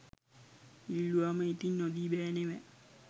ඉල්ලුවම ඉතින් නොදී බෑ නෙව